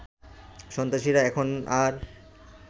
সন্ত্রাসীরা এখন আর